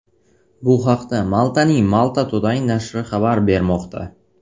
Bu haqda Maltaning Malta Today nashri xabar bermoqda .